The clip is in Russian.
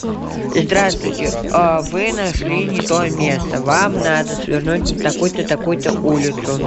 здравствуйте вы нашли не то место вам надо свернуть на такую то такую то улицу